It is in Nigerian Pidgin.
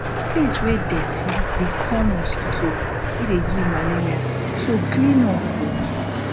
place wey dirty dey call mosquito wey dey give malaria so clean up oo